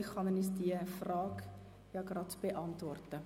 Vielleicht kann er uns diese Frage gleich beantworten.